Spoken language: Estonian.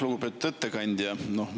Lugupeetud ettekandja!